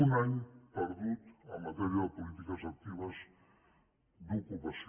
un any perdut en matèria de polítiques actives d’ocupació